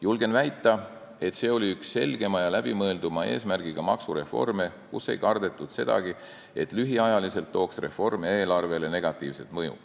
Julgen väita, et see oli üks selgema ja läbimõelduma eesmärgiga maksureforme, ei kardetud sedagi, et lühiajaliselt tekitab reform eelarvele negatiivset mõju.